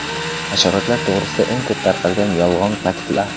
Hasharotlar to‘g‘risida eng ko‘p tarqalgan yolg‘on faktlar.